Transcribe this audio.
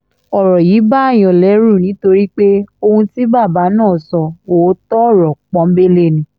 ọ̀rọ̀ yìí bààyàn lẹ́rù nítorí pé ohun tí bàbá náà sọ òótọ́ ọ̀rọ̀ pọ́ńńbélé ni